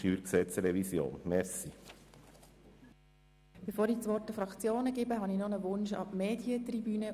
Bevor ich das Wort an die Fraktionen gebe, habe ich noch einen Wunsch an die Medientribüne.